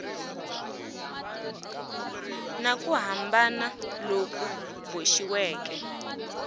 na ku hambana loku boxiweke